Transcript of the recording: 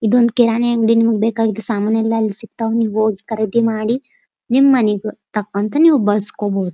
ಇದೊಂದ್ ಕಿರಾಣಿ ಅಂಗಡಿ ನಿಮ್ಗ್ ಬೇಕಾದ ಸಾಮಾನು ಸಿಗತೈತಿ ನೀವ್ ಹೋಗಿ ಖರೀದಿ ಮಾಡಿ ನಿಮ್ ಮನಿಗ್ ತಕ್ಕಂಥ ನೀವ್ ಬಳಸ್ಕೊಬಹುದು.